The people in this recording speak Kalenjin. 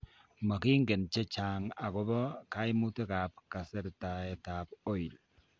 Mokingen chechang' akobo kaimutik ab kasertaet ab oil